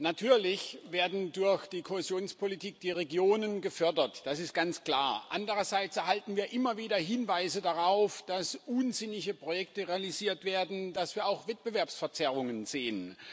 Natürlich werden durch die Kohäsionspolitik die Regionen gefördert, das ist ganz klar. Andererseits erhalten wir immer wieder Hinweise darauf, dass unsinnige Projekte realisiert werden, dass wir auch Wettbewerbsverzerrungen sehen.